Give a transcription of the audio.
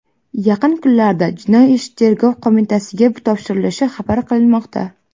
Yaqin kunlarda jinoiy ish Tergov qo‘mitasiga topshirilishi xabar qilinmoqda.